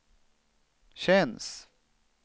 känns